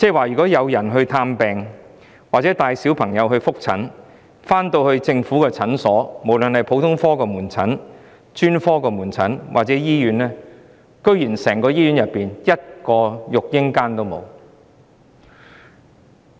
如果有人帶嬰兒到政府普通門診診所、專科門診診所或醫院求診，他們沒有一間育嬰室可用。